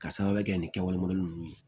Ka sababuya kɛ ni kɛwale nunnu ye